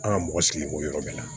An ka mɔgɔ sigi b'o yɔrɔ bɛɛ la